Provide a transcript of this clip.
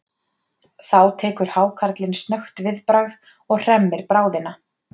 Þá tekur hákarlinn snöggt viðbragð og hremmir bráðina.